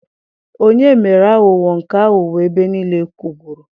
Onye mere aghụghọ nke aghụghọ ebe niile kwụgburu